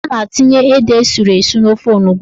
A na-etinye ede esuru esu n'ofe onugbo.